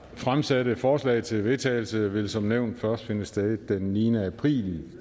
fremsatte forslag til vedtagelse vil som nævnt først finde sted den niende april